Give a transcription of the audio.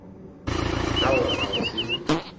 ka gore ga go seo